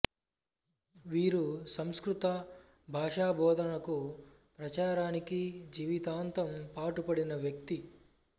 వీరు సంస్కృత భాషా బోధనకు ప్రచారానికి జీవితాంతం పాటుపడిన వ్యక్తి